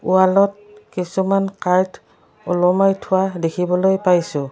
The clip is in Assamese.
ৱালত কিছুমান কাৰ্ড ওলোমাই থোৱা দেখিবলৈ পাইছোঁ।